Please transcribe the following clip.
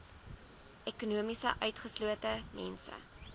ekonomies utgeslote mense